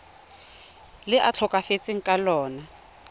le a tlhokafetseng ka lona